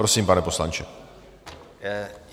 Prosím, pane poslanče.